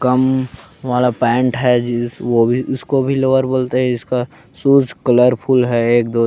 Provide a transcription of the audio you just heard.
कम वाला पेंट है जिस वो भी उसको भी लोवर बोलते है इसका शूज कलरफुल है एक दो --